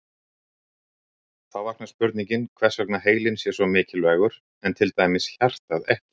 Þá vaknar spurningin hvers vegna heilinn sé svo mikilvægur en til dæmis hjartað ekki.